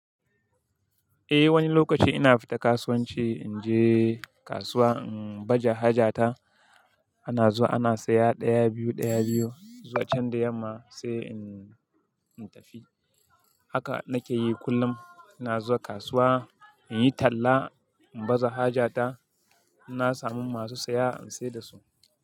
Eh wani lokaci ina fita kasuwanci, in je kasuwa in baja haja ta, ana zuwa ana saya ɗaya biyu ɗaya biyu, zuwa can da yamma sai in tafi. Haka nake yi kullum, ina zuwa kasuwa in yi talla in baza haja ta, ina samun masu saya in sai da su.